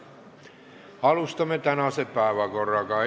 Läheme tänase päevakorra juurde.